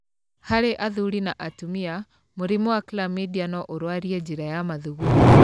Harĩ athuri na atumia, mũrimũ wa Chlamydia no ũrwarie njĩra ya mathugumo.